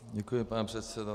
Děkuji, pane předsedo.